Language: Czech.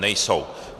Nejsou.